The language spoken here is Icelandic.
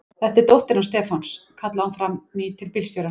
Þetta er dóttir hans Stefáns! kallaði hún fram í til bílstjórans.